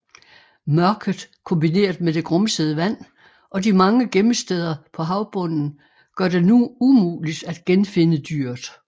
Mørket kombineret med det grumsede vand og de mange gemmesteder på havbunden gør det umuligt at genfinde dyret